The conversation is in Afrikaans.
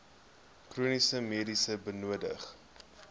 chroniese medisyne benodig